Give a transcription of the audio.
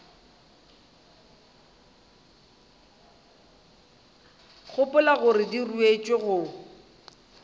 gopola gore di ruetšwe go